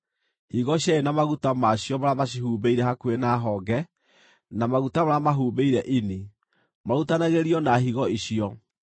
higo cierĩ na maguta ma cio marĩa macihumbĩire hakuhĩ na honge, na maguta marĩa mahumbĩire ini, marutanagĩrio na higo icio.